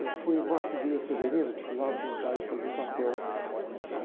Eu fui em Morte e Vida Severina, precisavam de um cara, de fazer um papel lá.